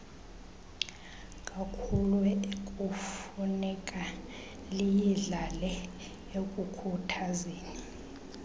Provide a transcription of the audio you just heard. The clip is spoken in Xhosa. kakhuluekufuneka liyidlale ekukhuthazeni